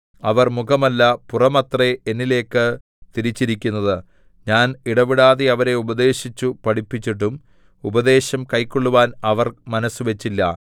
അവർ മുഖമല്ല പുറമത്രേ എന്നിലേക്കു തിരിച്ചിരിക്കുന്നത് ഞാൻ ഇടവിടാതെ അവരെ ഉപദേശിച്ചു പഠിപ്പിച്ചിട്ടും ഉപദേശം കൈക്കൊള്ളുവാൻ അവർ മനസ്സുവച്ചില്ല